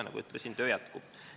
Nagu ütlesin, töö jätkub.